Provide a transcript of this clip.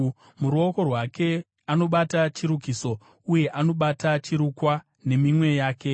Muruoko rwake anobata chirukiso, uye anobata chirukwa neminwe yake.